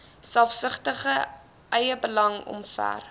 selfsugtige eiebelang omver